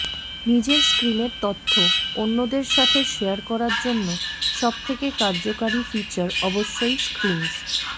নিজের স্ক্রিনের তথ্য অন্যদের সাথে শেয়ার করার জন্য সবথেকে কার্যকারী ফিচার অবশ্যই স্ক্রিনশ